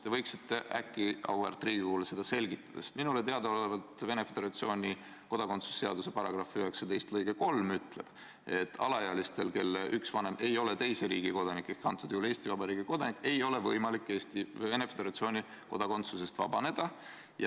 Te võiksite äkki auväärt Riigikogule seda selgitada, sest minule teadaolevalt Venemaa Föderatsiooni kodakondsusseaduse § 19 lõige 3 ütleb, et alaealistel, kelle üks vanem ei ole teise riigi kodanik ehk antud juhul Eesti Vabariigi kodanik, ei ole võimalik Venemaa Föderatsiooni kodakondsusest vabaneda.